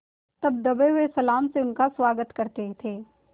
तब दबे हुए सलाम से उसका स्वागत करते थे